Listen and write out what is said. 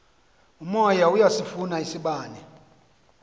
umoya iyasifuna isibane